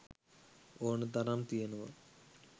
ඕනතරම් තියනව